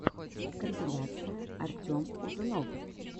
компиляция артем узунов